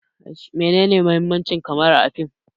Meye muhimmanci kamara a fim?